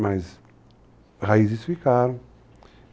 Mas raízes ficaram.